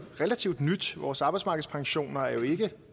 relativt nyt vores arbejdsmarkedspensioner er jo ikke